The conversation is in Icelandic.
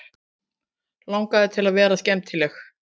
Langaði til að vera skemmtileg.